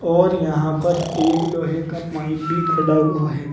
और यहां पर एक लोहे का पाइप भी खड़ा हुआ है।